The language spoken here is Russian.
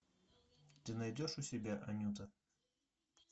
ты найдешь у себя анюта